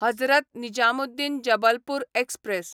Hazrat Nizamuddin Jabalpur express